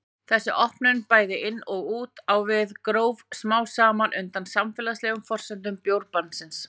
Þessi opnun, bæði inn og út á við, gróf smám saman undan samfélagslegum forsendum bjórbannsins.